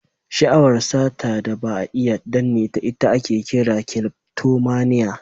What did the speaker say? Sha'awar sata da ba a iya danneta, ita ake kira "kleftomania".